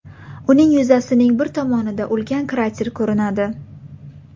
Uning yuzasining bir tomonida ulkan krater ko‘rinadi.